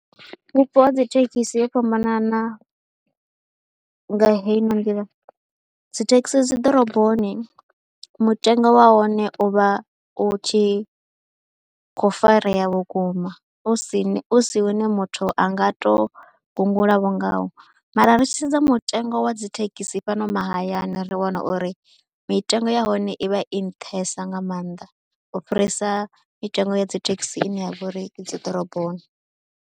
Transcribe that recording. Vhupo ha dzi thekhisi ho fhambanana nga heino nḓila, dzi thekhisi dzi ḓoroboni mutengo wa hone u vha u tshi kho farea vhukuma u si ni, u si une muthu a nga tou gungulavho ngawo, mara ri tshi sedza mutengo wa dzi thekhisi fhano mahayani ri wana uri mitengo ya hone i vha i nṱhesa nga maanḓa u fhirisa mitengo ya dzi thekhisi ine ya vha uri i dzi ḓoroboni.